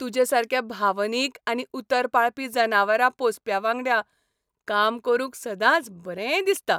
तुजे सारक्या भावनीक आनी उतर पाळपी जनावरां पोसप्यांवांगडा काम करूंक सदांच बरें दिसता.